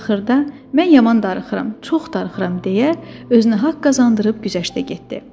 Axırda, mən yaman darıxıram, çox darıxıram deyə özünə haqq qazandırıb güzəştə getdi.